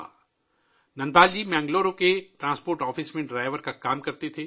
دھنپال جی بنگلور کے transport office میں driver کے طور پر کام کرتے تھے